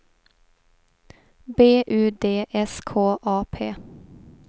B U D S K A P